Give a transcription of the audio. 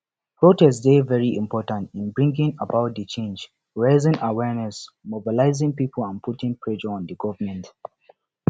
protest dey very important in bringing about di change raising awareness mobilize people and put pressure on di government